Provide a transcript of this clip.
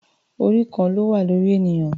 Orí kan ló wà lórí ènìyàn.